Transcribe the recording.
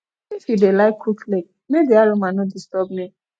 if you dey like cook late make di aroma no disturb me